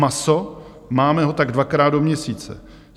Maso - máme ho tak dvakrát do měsíce.